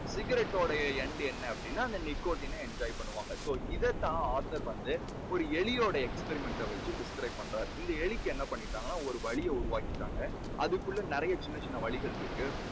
ciggarette டோட end என்ன அப்படீன்னா அந்த nickotin ன enjoy பண்ணுவாங்க. இதைத் தான் author வந்து ஒரு எலியோட experiment ட வெச்சு describe பண்றாரு. இந்த எலிக்கு என்ன பண்ணிட்டாங்கன்னா ஒரு வழியை உருவாக்கிட்டாங்க. அதுக்குள்ள நிறைய சின்ன சின்ன வழிகள் இருக்கு.